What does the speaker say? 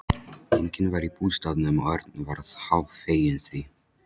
Enginn var í bústaðnum og Örn varð hálffeginn því.